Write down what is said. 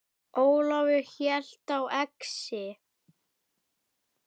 Ólafur hélt á exi.